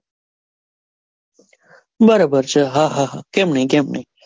બરાબર છે હા હા કેમ નહિ કેમ નહિ.